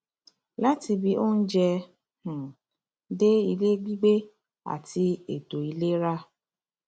látibí oúnjẹ um dé ilé gbígbé àti ètò ìlera